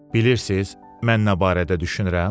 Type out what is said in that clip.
Bilirsiniz, mən nə barədə düşünürəm?